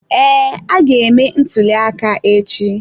Ee, a ga-eme ntuli aka echi.